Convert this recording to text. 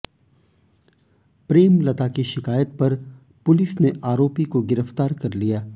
प्रेमलता की शिकायत पर पुलिस ने आरोपी को गिरफ्तार कर लिया